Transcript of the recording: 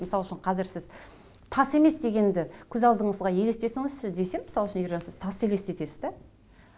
мысал үшін қазір сіз тас емес дегенді көз алдыңызға елестетіңізші десем мысал үшін ержан сіз тас елестетесіз да